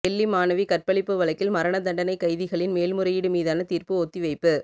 டெல்லி மாணவி கற்பழிப்பு வழக்கில் மரண தண்டனைக் கைதிகளின் மேல்முறையீடு மீதான தீர்ப்பு ஒத்திவைப்பு